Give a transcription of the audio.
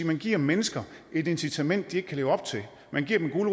man giver mennesker et incitament de ikke kan leve op til at man giver dem en